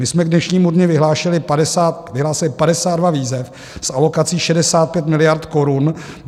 My jsme k dnešnímu dni vyhlásili 52 výzev s alokací 65 miliard korun.